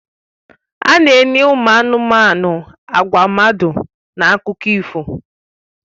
A na-enye ụmụ anụmanụ àgwà mmadụ na akụkọ ifo